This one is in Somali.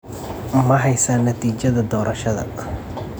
Ma haysaa natiijada doorashada?